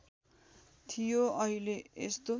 थियो अहिले यस्तो